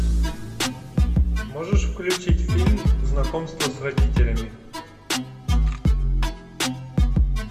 можешь включить фильм знакомство с родителями